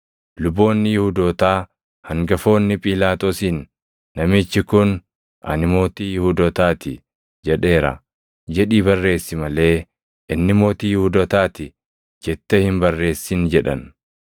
Luboonni Yihuudootaa hangafoonni Phiilaaxoosiin, “Namichi kun, ‘ “Ani mootii Yihuudootaa ti” jedheera’ jedhii barreessi malee, ‘Inni Mootii Yihuudootaa ti’ jettee hin barreessin” jedhan.